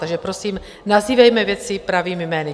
Takže prosím, nazývejme věci pravými jmény.